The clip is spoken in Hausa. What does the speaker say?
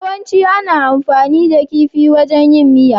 Yawancin ana amfani da kifi wajan yin miya.